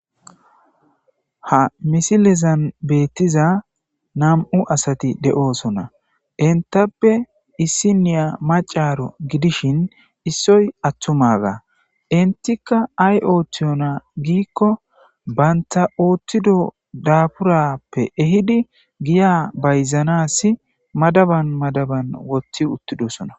ha misilezan beettiza nam7u asati de7oosona intappe issi niya macaro gidishin issoy attumaga intika ay ooththiyona giikko bantha ooththido daaburappe ehidi giya bayzanasi madaban madaban wothti uttidosona